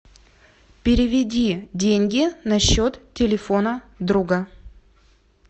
переведи деньги на счет телефона друга